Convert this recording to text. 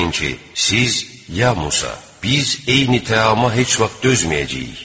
Xatırlayın ki, siz ya Musa, biz eyni təama heç vaxt dözməyəcəyik.